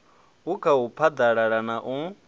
u khau phaḓalazwa na u